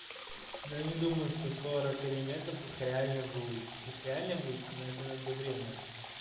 но я не думаю что сорок элементов их реально выучить их реально будет но это надо время